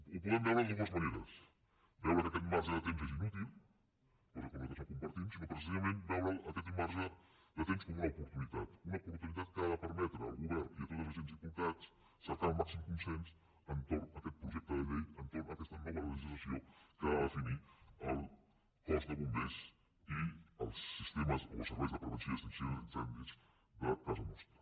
ho podem veure de dues maneres veure que aquest marge de temps és inútil cosa que nosaltres no compartim o precisa·ment veure’l aquest marge de temps com una opor·tunitat una oportunitat que ha de permetre al govern i a tots els agents implicats cercar el màxim consens entorn d’aquest projecte de llei entorn d’aquesta no·va legislació que ha de definir el cos de bombers i els sistemes o els serveis de prevenció i extinció d’incen·dis de casa nostra